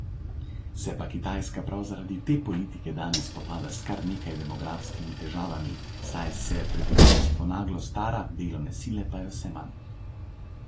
Se pa Kitajska prav zaradi te politike danes spopada s kar nekaj demografskimi težavami, saj se prebivalstvo naglo stara, delovne sile pa je vse manj.